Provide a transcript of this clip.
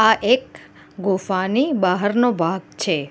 આ એક ગુફાની બહારનો ભાગ છે.